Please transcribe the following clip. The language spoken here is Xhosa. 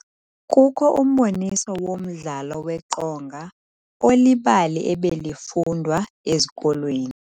Kukho umboniso womdlalo weqonga olibali ebelifundwa ezikolweni.